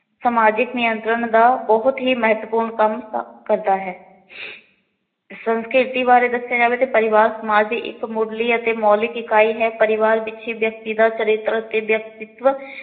ਸਮਾਜਿਕ ਨਿਯੰਤਰਣ ਦਾ ਬਹੁਤ ਹੀ ਮਹੱਤਵਪੂਰਨ ਕੰਮ ਕ ਕਰਦਾ ਹੈ। ਸੰਸਕ੍ਰਿਤੀ ਬਾਰੇ ਦੱਸਿਆਂ ਜਾਵੇ ਤੇ ਪਰਿਵਾਰ ਸਮਾਜ ਦੀ ਇੱਕ ਮੁਢਲੀ ਅਤੇ ਮੋਲਿਕ ਇਕਾਈ ਹੈ। ਪਰਿਵਾਰ ਵਿੱਚ ਹੀ ਚਰਿੱਤਰ ਅਤੇ ਵਿਅਕਤਿਤਵ